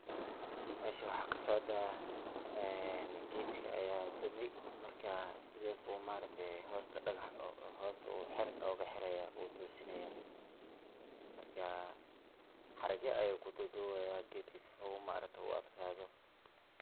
Meshan waxkasocdah ee ketga aya dumay marka sethasi ayu hoosta dagax ugu xiraya oo toosinaya xerkya ayu kududubaya keetga sifa u adgathoh.